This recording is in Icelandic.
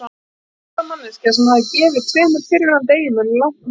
Hún var sjálfstæð manneskja sem hafði gefið tveimur fyrrverandi eiginmönnum langt nef.